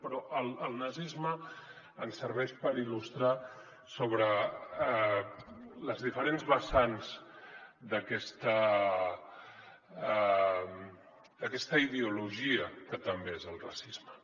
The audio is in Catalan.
però el nazisme ens serveix per il·lustrar sobre les diferents vessants d’aquesta ideologia que també és el racisme